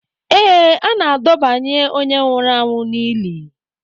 Ee, a na-adọbanye onye nwụrụ anwụ n'ili